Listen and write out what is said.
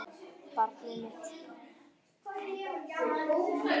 Barnið mitt.